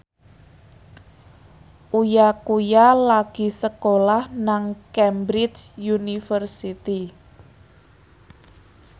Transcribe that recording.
Uya Kuya lagi sekolah nang Cambridge University